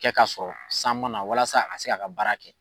Kɛ ka sɔrɔ san mana walasa a ka se ka a ka baara kɛ